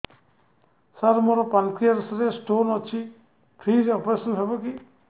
ସାର ମୋର ପାନକ୍ରିଆସ ରେ ସ୍ଟୋନ ଅଛି ଫ୍ରି ରେ ଅପେରସନ ହେବ କି